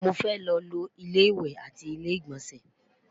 mọ fẹ ló fo ilé ìwé àti ilé igbọnsẹ